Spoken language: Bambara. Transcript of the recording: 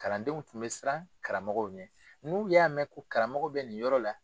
Kalandenw tun bɛ siran karamɔgɔw ɲɛ n'u y'a mɛn ko karamɔgɔ bɛ nin yɔrɔ la